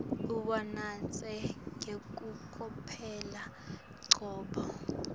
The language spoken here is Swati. uwunatse ngekucophelela ngoba